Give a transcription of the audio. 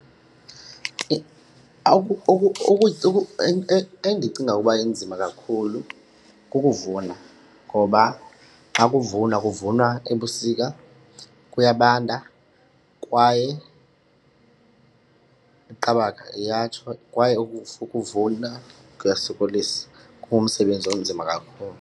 Endicinga ukuba inzima kakhulu kukuvuna ngoba xa kuvunwa kuvunwa ebusika, kuyabanda kwaye iqabaka iyatsho. Kwaye ukuvuna kuyasokolisa, kungumsebenzi onzima kakhulu.